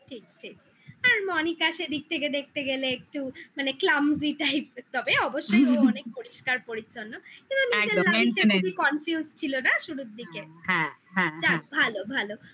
ঠিক ঠিক আর মনিকা সে দিক থেকে দেখতে গেলে একটু মানে clumsy type তবে অবশ্যই ও অনেক পরিষ্কার পরিচ্ছন্ন কিন্তু না একদম maintanance খুবই confused ছিল না শুরুর দিকে হ্যা হ্যা যাক ভালো ভালো